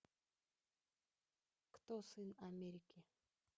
кто сын америки